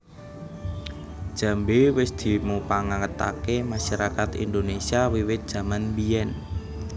Jambé wis dimupangataké masarakat Indonésia wiwit jaman biyèn